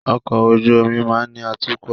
Ọkọ̀ ojú omi máa ni atukọ̀